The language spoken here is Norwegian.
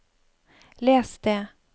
les det